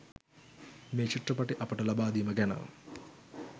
මේ චිත්‍රපට අපට ලබා දීම ගැන